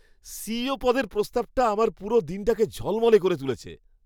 CEO পদের প্রস্তাবটা আমার পুরো দিনটাকে ঝলমলে করে তুলেছে।